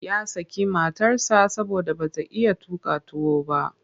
Ya saki matarsa saboda ba ta iya tuƙa tuwo ba.